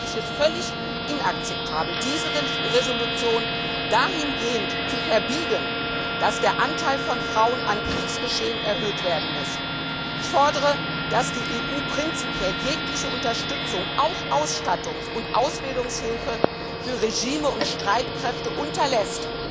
Daher finde ich es völlig inakzeptabel, diese Resolution dahingehend zu verbiegen, dass der Anteil von Frauen an Kriegsgeschehen erhöht werden muss. Ich fordere, dass die EU prinzipiell jegliche Unterstützung, auch Ausstattungs und Ausbildungshilfe, für Regime und Streitkräfte unterlässt,